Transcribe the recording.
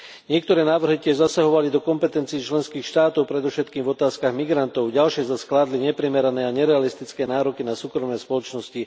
Niektoré návrhy tiež zasahovali do kompetencií členských štátov, predovšetkým v otázkach migrantov, ďalšie zas kládli neprimerané a nerealistické nároky na súkromné spoločnosti.